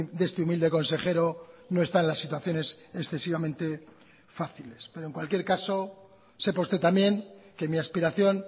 de este humilde consejero no está en las situaciones excesivamente fáciles pero en cualquier caso sepa usted también que mi aspiración